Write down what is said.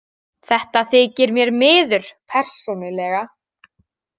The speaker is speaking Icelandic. Það þykir mér miður persónulega.